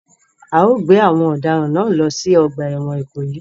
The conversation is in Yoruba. A o gbé àwon òdaràn náà lo si ogbà èwòn Ìkòyí